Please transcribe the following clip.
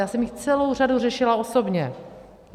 Já jsem jich celou řadu řešila osobně.